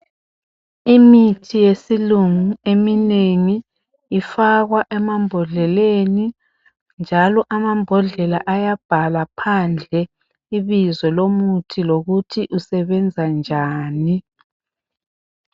Imithi yesilungu eminengi ifakwa emabhodleni, njalo amabhodlela iyabhalwa phandle ibizo lomuthi lokuthi usebenza njani.